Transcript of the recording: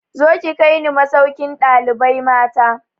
Zo ki kai ni masaukin ɗalibai mata!